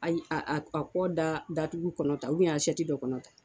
Ayi a a a kɔ da datugu kɔnɔta asiyɛti dɔ kɔnɔta.